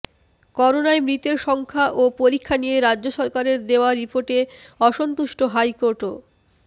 করোনায় মৃতের সংখ্যা ও পরীক্ষা নিয়ে রাজ্য সরকারের দেওয়া রিপোর্টে অসন্তুষ্ট হাইকোর্টও